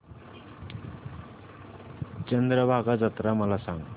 चंद्रभागा जत्रा मला सांग